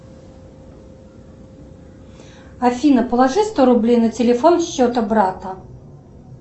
афина положи сто рублей на телефон счета брата